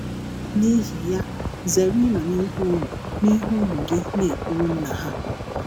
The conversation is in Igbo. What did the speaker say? N’ihi ya, zere ịnọ n’ihu ụmụ n’ihu ụmụ gị na - ekwụlụ nna’ ha.